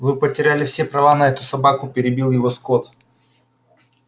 вы потеряли все права на эту собаку перебил его скотт